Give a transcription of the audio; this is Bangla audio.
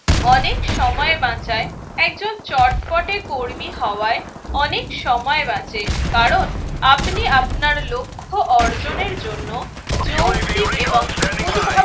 অনেক সময় বাঁচায় একজন চটপটে কর্মী হওয়ায় অনেক সময় বাঁচে। কারণ আপনি আপনার লক্ষ্য অর্জনের জন্য যৌক্তিক এবং উদ্ভা